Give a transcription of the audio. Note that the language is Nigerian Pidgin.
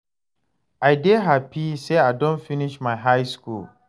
I dey hapi sey I don finish my high skool.